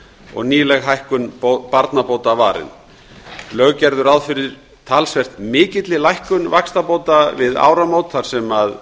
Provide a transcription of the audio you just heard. og nýleg hækkun barnabóta varin lög gerðu ráð fyrir talsvert mikilli lækkun vaxtabóta við áramót þar sem